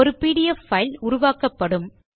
ஒரு PDF file உருவாக்கப்படும்